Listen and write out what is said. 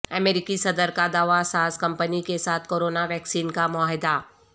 امریکی صدر کا دوا ساز کمپنی کے ساتھ کورونا ویکسین کا معاہدہ